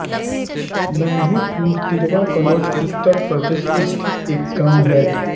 नान्हेपुर तिरवा कन्नौज उत्तर प्रदेश स्थित एक गाँव है